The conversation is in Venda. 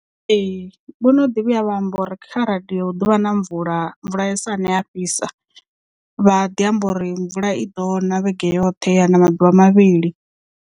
Ee vho no ḓi vhuya vha amba uri kha radio hu ḓovha na mvula, mvula ya sane ha fhisa vha ḓi amba uri mvula i ḓo na vhege yoṱhe ya na maḓuvha mavhili.